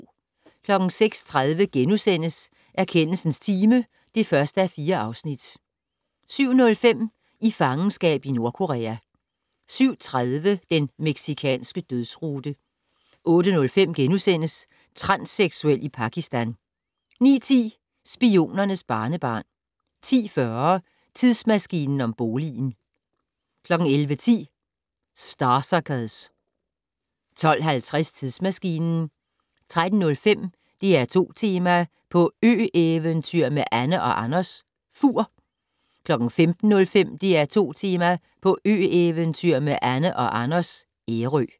06:30: Erkendelsens time (1:4)* 07:05: I fangenskab i Nordkorea 07:30: Den mexicanske dødsrute 08:05: Transseksuel i Pakistan * 09:10: Spionernes barnebarn 10:40: Tidsmaskinen om boligen 11:10: Starsuckers 12:50: Tidsmaskinen 13:05: DR2-Tema: På ø-eventyr med Anne & Anders - Fur 15:05: DR2 Tema: På ø-eventyr med Anne & Anders - Ærø